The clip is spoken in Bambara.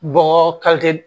Bɔgɔ